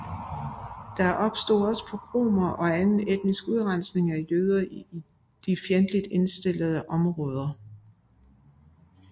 Der opstod også pogromer og etnisk udrensning af jøder i de fjendtligt indstillede områder